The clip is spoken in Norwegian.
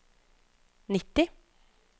nitti